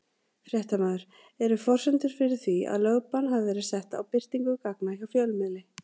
Fréttamaður: Eru forsendur fyrir því að lögbann hafi verið sett á birtingu gagna hjá fjölmiðli?